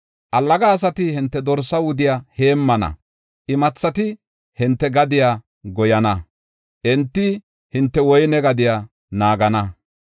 Allaga asati hinte dorsa wudiya heemmana; imathati hinte gadiya goyana enti hinte woyne gadiya naagana.